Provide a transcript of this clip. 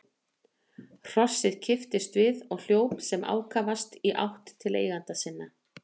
Hrossið kipptist við og hljóp sem ákafast í átt til eigenda sinna.